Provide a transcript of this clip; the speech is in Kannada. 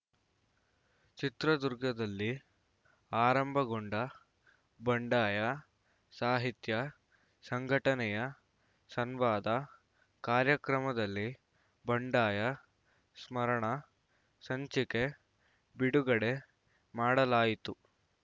ಚಿತ್ರದುರ್ಗದಲ್ಲಿ ಆರಂಭಗೊಂಡ ಬಂಡಾಯ ಸಾಹಿತ್ಯ ಸಂಘಟನೆಯ ಸಂವಾದ ಕಾರ್ಯಕ್ರಮದಲ್ಲಿ ಬಂಡಾಯ ಸ್ಮರಣ ಸಂಚಿಕೆ ಬಿಡುಗಡೆ ಮಾಡಲಾಯಿತು